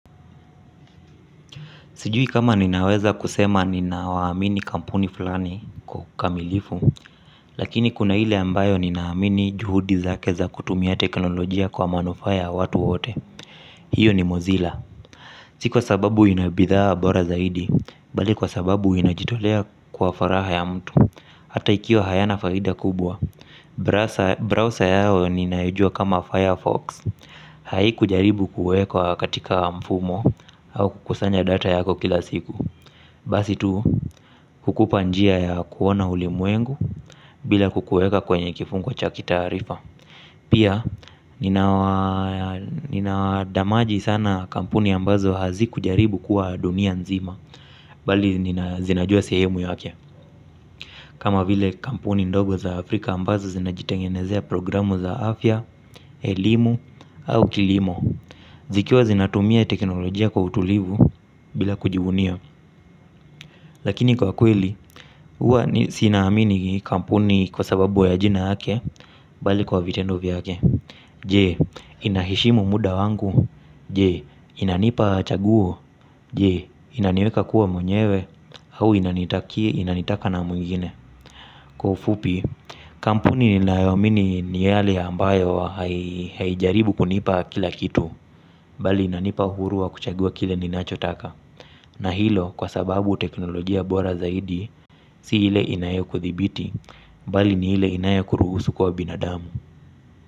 Sijui kama ninaweza kusema ninawaamini kampuni fulani kwa ukamilifu, lakini kuna ile ambayo ninaamini juhudi zake za kutumia teknolojia kwa manufaa ya watu wote. Hiyo ni mozilla. Si kwa sababu ina bidhaa bora zaidi, bali kwa sababu inajitolea kwa faragha ya mtu. Hata ikiwa hayana faida kubwa. Browser yao ninayojua kama Firefox. Haikujaribu kuwekwa katika mfumo au kukusanya data yako kila siku. Basi tu hukupa njia ya kuona ulimwengu bila kukuweka kwenye kifungo cha kitaarifa. Pia ninadamaji sana kampuni ambazo hazikujaribu kuwa dunia nzima. Bali zinajua sehemu yake kama vile kampuni ndogo za Afrika ambazo zinajitengenezea programu za afya, elimu au kilimo zikiwa zinatumia teknolojia kwa utulivu bila kujivunia. Lakini kwa kweli, huwa siamini kampuni kwa sababu ya jina yake, bali kwa vitendo vyake. Je, inaheshimu muda wangu. Je, inanipa chaguo je, inaniweka kuwa mwenyewe. Au inanitaka na mwingine. Kwa ufupi, kampuni ninayoamini ni yale ambayo haijaribu kunipa kila kitu. Bali inanipa uhuru wa kuchagua kile ninachotaka. Na hilo kwa sababu teknolojia bora zaidi si ile inayokuthibiti bali ni ile inayokuruhusu kuwa binadamu.